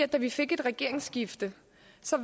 da vi fik et regeringsskifte